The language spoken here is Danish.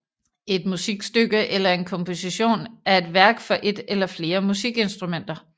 Et musikstykke eller en komposition er et værk for et eller flere musikinstrumenter